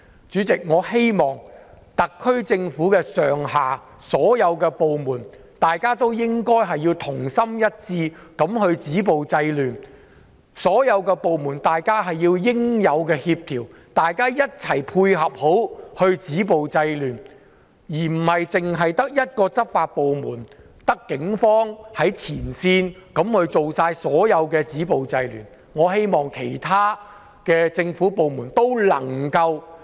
主席，我希望特區政府上下所有部門，同心一致地止暴制亂，所有部門應該互相協調，一起配合止暴制亂，而不是只靠執法部門，即警方在前線進行所有止暴制亂的行動，我希望其他政府部門能夠......